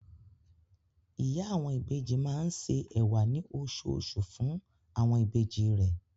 Ìyá àwọn ìbejì máa ń se ẹ̀wà ní oṣooṣù fún àwọn ìbejì rẹ̀.